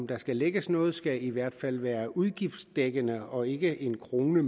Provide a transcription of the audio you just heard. der skal lægges noget skal det i hvert fald være udgiftsdækkende og ikke en krone